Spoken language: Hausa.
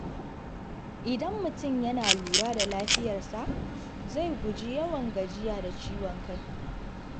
Idan mutum yana lura da lafiyarsa, zai guji yawan gajiya da ciwon kai.